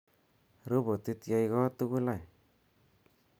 robotit yai koot tugul any